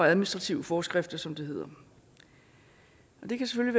administrative forskrifter som det hedder det kan